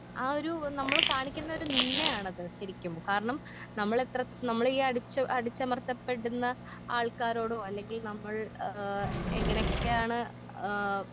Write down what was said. ആ ഒരു നമ്മള് കാണിക്കുന്നൊരു നിന്ദയാണത് ശെരിക്കും കാരണം നമ്മളിത്ര നമ്മളീ അടിച്ചു അടിച്ചമർത്തപ്പെടുന്ന ആൾക്കാരോടോ അല്ലെങ്കിൽ നമ്മൾ ഏ എങ്ങനെക്കെയാണ് ആ.